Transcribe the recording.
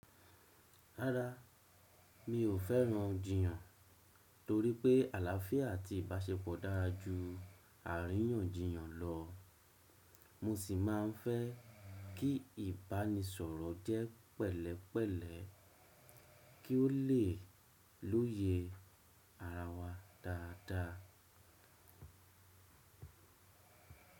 Rárá, mi ò fẹ́ran jìyàn torípé àláfíà àti ìbáṣepọ̀ dára ju àríyànjiyàn lọ, mo sì ma ń fẹ́ kí ìbánisọ̀rọ̀ jẹ́ pẹ̀lẹ́pẹ̀lẹ́ kí ó lè lóye ara wa dáadáa.